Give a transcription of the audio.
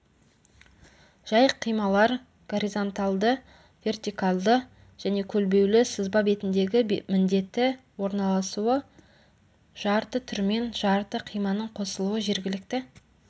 жай қималар горизонталды вертикалды және көлбеулі сызба бетіндегі міндеті орналасуы жарты түрмен жарты қиманың қосылуы жергілікті